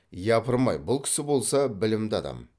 япырм ай бұл кісі болса білімді адам